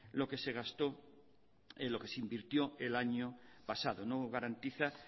lo que se gastó lo que se invirtió el año pasado no garantiza